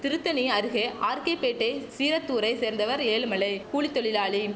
திருத்தணி அருகே ஆர்கேபேட்டை சீரத்தூரை சேர்ந்தவர் ஏழுமலை கூலி தொழிலாளி